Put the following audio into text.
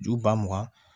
Ju ba mugan